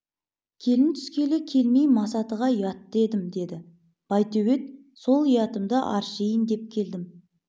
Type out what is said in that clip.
келін түскелі келмей масатыға ұятты едім деді байтөбет сол ұятымды аршиын деп келдім